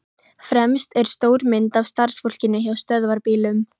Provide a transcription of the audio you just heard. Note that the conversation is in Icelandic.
Fremst er stór mynd af starfsfólkinu hjá Stöðvarbílum.